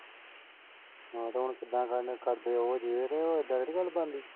ਹਾਂ ਤੇ ਹੁਣ ਕਿੱਦਾਂ ਗੱਲ ਕਰਦੇ ਉਹ ਜੇਠ ਉਹ ਐਡਾ ਅੜੀਅਲ ਬੰਦੇ।